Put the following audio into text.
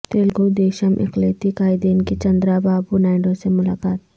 تلگو دیشم اقلیتی قائدین کی چندرا بابو نائیڈو سے ملاقات